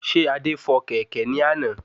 Ṣé Adé fò kẹ̀kẹ́ ní àná?